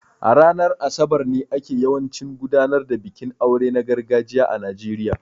A ranar Asabar ne ake yawancin gudanar da bikin aure na gargajiya a Najeriya